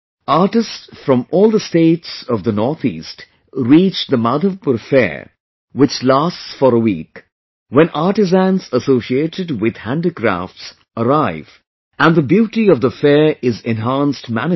Artists from all the states of the North East reach the Madhavpur Fair, which lasts for a week; when artisans associated with handicrafts arrive and the beauty of the fair is enhanced manifold